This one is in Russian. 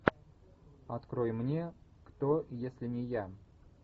открой мне кто если не я